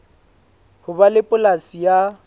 ho ba le polasi ya